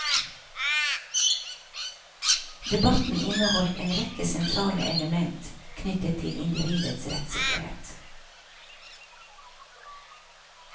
Debatten inneholdt en rekke sentrale element knyttet til individets rettssikkerhet.